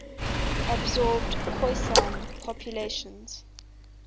absorbed khoisan populations